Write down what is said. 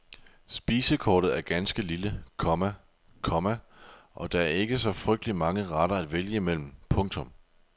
Spisekortet er ganske lille, komma , komma og der er ikke så frygtelig mange retter at vælge imellem. punktum